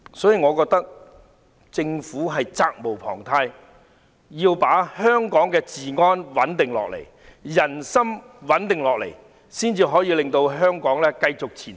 所以，我覺得政府責無旁貸，必須穩定香港的治安，穩定人心，才能夠令香港繼續前行。